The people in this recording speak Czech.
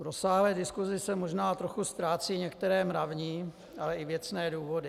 V rozsáhlé diskusi se možná trochu ztrácejí některé mravní, ale i věcné důvody.